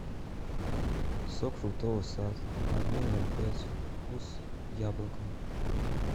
сок фруктовый сад объем ноль пять вкус яблоко